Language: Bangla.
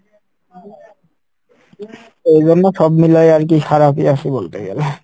ওই জন্য সব মিলাই আরকি খারাপই আসি বলতে গেলে।